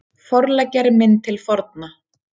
Forleggjari minn til forna